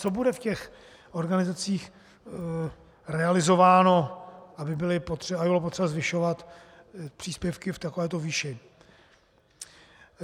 Co bude v těch organizacích realizováno, aby bylo potřeba zvyšovat příspěvky v takovéto výši?